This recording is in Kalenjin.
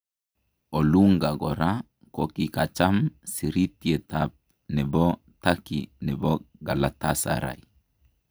Olunga koraa kokikacham sirityeetab nebo Turkey nebo Galatasaray